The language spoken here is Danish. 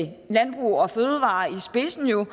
spidsen jo